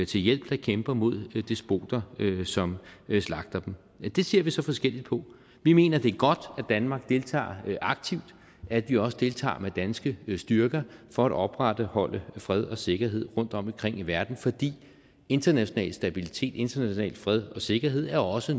til hjælp der kæmper mod despoter som slagter dem det ser vi så forskelligt på vi mener det er godt at danmark deltager aktivt at vi også deltager med danske styrker for at opretholde fred og sikkerhed rundtomkring i verden fordi international stabilitet international fred og sikkerhed også